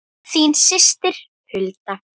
Þín systir Hulda.